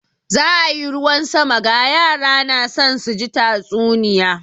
Za a yi ruwan sama, ga yara na son su ji tatsuniya.